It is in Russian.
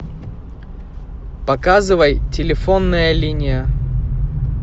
показывай телефонная линия